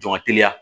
Jɔn ka teliya